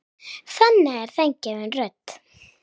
Þannig er þeim gefin rödd.